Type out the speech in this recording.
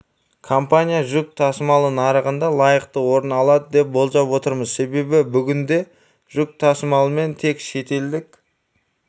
компания жүк тасымалы нарығында лайықты орын алады деп болжап отырмыз себебі бүгінде жүк тасымалымен тек шетелдік